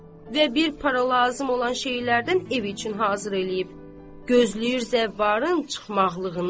Və bir para lazım olan şeylərdən ev üçün hazır eləyib, gözləyir zəvvarın çıxmaqlığını.